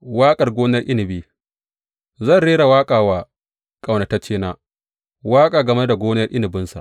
Waƙar gonar inabi Zan rera waƙa wa ƙaunataccena waƙa game da gonar inabinsa.